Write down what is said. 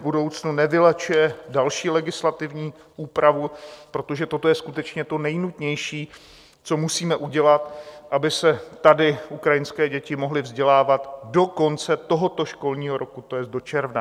V budoucnu nevylučuje další legislativní úpravu, protože toto je skutečně to nejnutnější, co musíme udělat, aby se tady ukrajinské děti mohly vzdělávat do konce tohoto školního roku, to jest do června.